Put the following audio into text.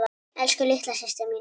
Elsku litla systir mín.